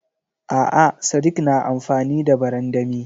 A'a sadik na amfani da barandami.